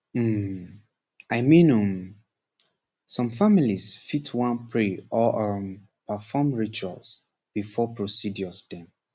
um i mean um some families fit wan pray or um perform rituals before procedures dem